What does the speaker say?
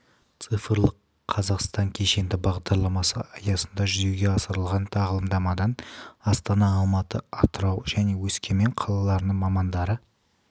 цифрлық қазақстан кешенді бағдарламасы аясында жүзеге асырылған тағылымдамадан астана алматы атырау павлодар және өскемен қалаларының мамандары